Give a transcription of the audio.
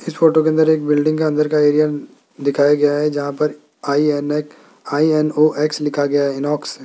इस फोटो के अंदर एक बिल्डिंग का अंदर का एरिया दिखाया गया है जहां पर आई_एन_एक्स आई_एन_ओ_एक्स इनॉक्स लिखा गया है।